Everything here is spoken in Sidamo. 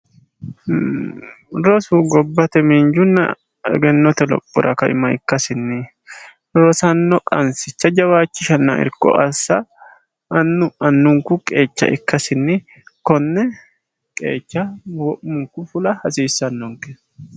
Loosu gobbate miinjunna egennite loosira kaima ikkkasinni loosanno qansicha jawaachchishanna annu annunku qeecha ukkasinni konne qeechcha wi'munku fula hasiissannonke